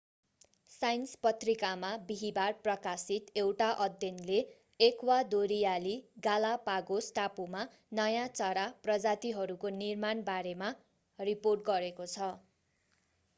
science पत्रिकामा बिहीबार प्रकाशित एउटा अध्ययनले एक्वादोरियाली गालापागोस टापुमा नयाँ चरा प्रजातिहरूको निर्माण बारेमा रिपोर्ट गरेको छ